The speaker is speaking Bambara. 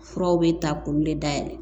Furaw bɛ ta k'olu de da yɛlɛ